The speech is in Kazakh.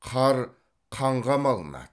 қар қанға малынады